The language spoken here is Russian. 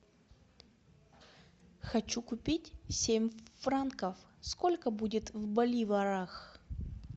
хочу купить семь франков сколько будет в боливарах